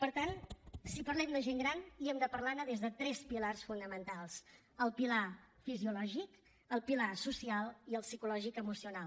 per tant si parlem de gent gran hem de parlar ne des de tres pilars fonamentals el pilar fisiològic el pilar social i el psicològic emocional